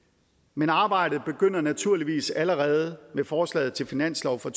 men arbejdet begynder naturligvis allerede med forslaget til finanslov for